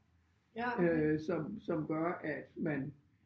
Øh som som gør at man